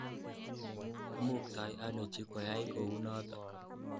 Imuktoi ano chi koyai kounotok.